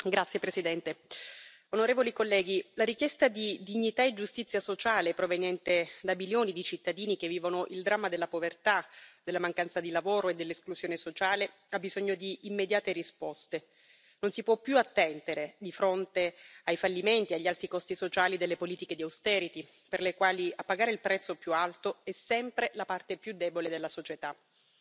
Signora Presidente, onorevoli colleghi, la richiesta di dignità e giustizia sociale proveniente da milioni di cittadini che vivono il dramma della povertà, della mancanza di lavoro e dell'esclusione sociale ha bisogno di immediate risposte, non si può più attendere di fronte ai fallimenti, agli alti costi sociali delle politiche di austerity per le quali a pagare il prezzo più alto è sempre la parte più debole della società.